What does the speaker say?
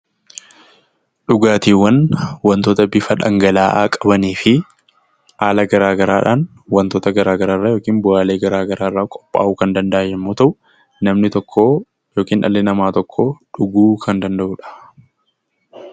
Dhugaatiiwwan wanta bifa dhangala'aa qabanii fi haala garaagaraatiin wantoota garaagaraa yookiin bu'aalee garaagaraa irraa kan qophaawu yommuu ta'u, namni tokko yookiin dhalli namaa tokko dhuguu kan danda'udha.